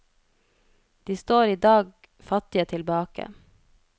De står i dag fattige tilbake.